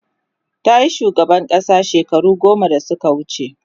tayi shugaban ƙasa shekaru goma da Suka wuce